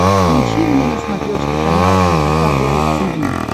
включи мне на смотрешке канал эн эйч кей волд ти ви